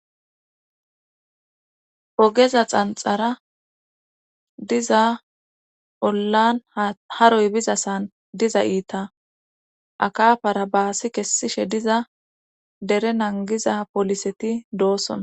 Ogeza xanxara diza ollan haroy biza san diza iita akafara baasi kessishe diza dere nangiza poliseti doossona.